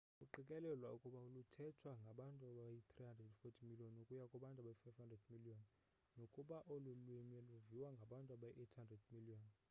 kuqikelelwa ukuba luthethwa ngabantu abayi-340 miliyoni ukuya kwabayi-500 miliyoni nokuba olu lwimi luviwa ngabantu abayi-800 miliyoni